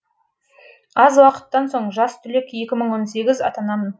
аз уақыттан соң жас түлек атанамын